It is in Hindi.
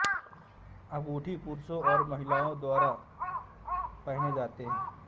अंगूठी पुरुषों और महिलाओं दोनों द्वारा पहने जाते हैं